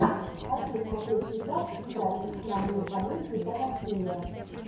хочу смотреть сейчас сериальчик в манере комедия про насилие